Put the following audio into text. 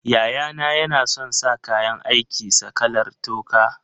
Yayana yana son sa kayan aikin sa kalar toka.